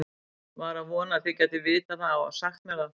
var að vona þið gætuð vitað það og sagt mér það